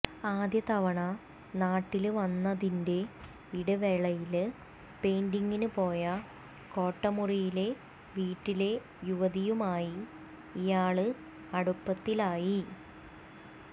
ആദ്യ തവണ നാട്ടില് വന്നതിന്റെ ഇടവേളയില് പെയിന്റിങ്ങിന് പോയ കോട്ടമുറിയിലെ വീട്ടിലെ യുവതിയുമായി ഇയാള് അടുപ്പത്തിലായി